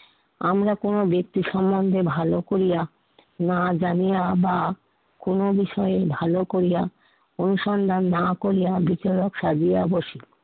আমরা কোনো ব্যক্তি সমন্ধে ভালো করিয়া না জানিয়া বা কোনো বিষয়ে ভালো করিয়া অনুসন্ধান না করিয়া ভীতু লোক সাজিয়া বসি